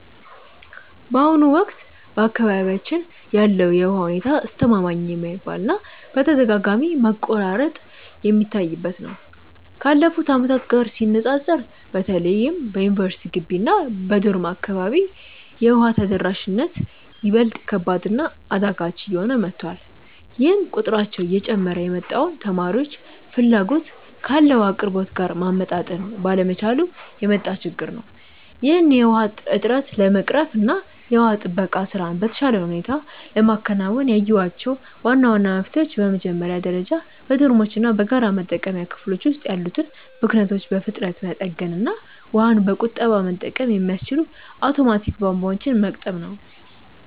በአሁኑ ወቅት በአካባቢያችን ያለው የውሃ ሁኔታ አስተማማኝ የማይባል እና በተደጋጋሚ መቆራረጥ የሚታይበት ነው። ካለፉት ዓመታት ጋር ሲነፃፀር በተለይም በዩኒቨርሲቲ ግቢ እና በዶርም አካባቢ የውሃ ተደራሽነት ይበልጥ ከባድ እና አዳጋች እየሆነ መጥቷል፤ ይህም ቁጥራቸው እየጨመረ የመጣውን ተማሪዎች ፍላጎት ካለው አቅርቦት ጋር ማመጣጠን ባለመቻሉ የመጣ ችግር ነው። ይህንን የውሃ እጥረት ለመቅረፍ እና የውሃ ጥበቃ ስራን በተሻለ ሁኔታ ለማከናወን ያየኋቸው ዋና ዋና መፍትሄዎች በመጀመሪያ ደረጃ በዶርሞች እና በጋራ መጠቀሚያ ክፍሎች ውስጥ ያሉትን ብክነቶች በፍጥነት መጠገን እና ውሃን በቁጠባ መጠቀም የሚያስችሉ አውቶማቲክ ቧንቧዎችን መግጠም ነው።